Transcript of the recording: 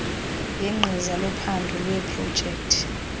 yegqiza lophando leeprojekthi